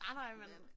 Nej nej men